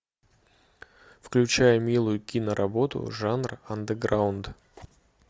включай милую киноработу жанр андеграунд